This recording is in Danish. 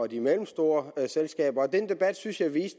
de mellemstore selskaber den debat synes jeg